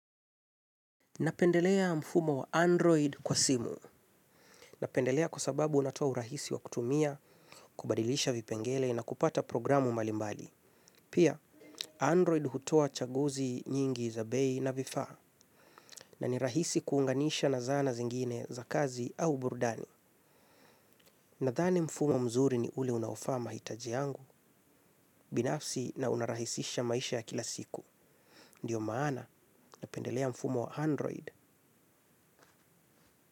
Napendelea mfumo wa Android kwa simu. Napendelea kwa sababu unatoa urahisi wa kutumia, kubadilisha vipengele na kupata programu mbalimbali. Pia, Android hutoa chaguzi nyingi za bei na vifaa. Na ni rahisi kuunganisha na zana zingine za kazi au burudani. Nathani mfumo mzuri ni ule unaofaa mahitaji yangu, binafsi na unarahisisha maisha ya kila siku. Ndiyo maana, napendelea mfumo wa Android.